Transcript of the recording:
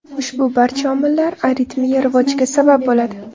Ushbu barcha omillar aritmiya rivojiga sabab bo‘ladi.